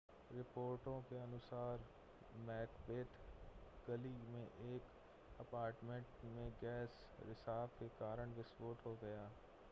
रिपोर्टों के अनुसार मैकबेथ गली में एक अपार्टमेंट में गैस रिसाव के कारण विस्फोट हो गया